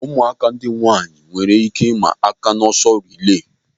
Ụmụaka ndị nwaanyị a nwere ike ịma aka n'ọsọ rilee.